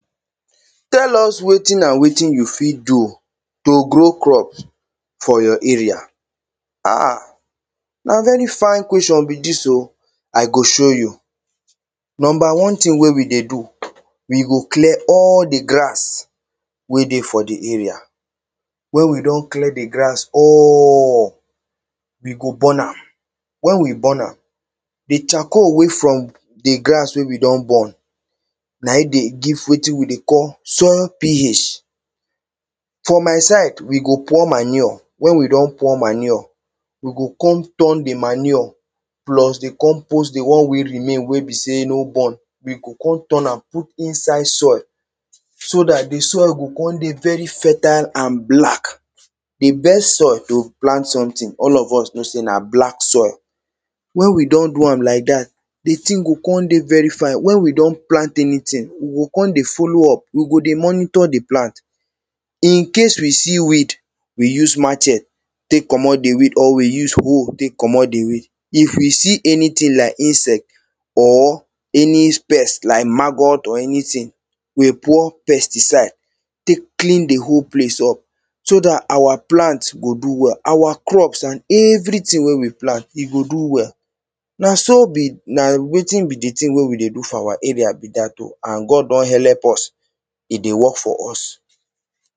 Tell us wetin and wetin you fit do to grow crops for your area. um Na very fine question be dis o, I go show you. Number one thing wey we dey do, we go clear all the grass wey dey for the area. When we don clear the grass all, we go burn am. When we burn am, the charcoal wey from the grass wey we don burn, na e dey give wetin we dey call soil Ph. For my side, we go pour manure, when we don pour manure, we go come turn the manure, plus, we go come put the one wey remain wey be say no burn, we go come turn am put inside soil. So dat the soil go come dey very fertile and black. The best soil to plant something, all of us know say na black soil. When we don do am lak dat, the thing go come dey very fine, when we don plant anything, we go come dey follow up, we go dey monitor the plant. In case we see weed, we use machet tek commot the weed or we use hoe tek commot the weed. If we see anything lak insect or any pest lak maggot or anything, we pour pesticide tek clean the whole place up. so dat our plant go do well. Our crops and everythinng wey we plant, e go do well. Na so be... na wetin be the thing wey we dey do for our area be dat o and God don help us. E dey work for us.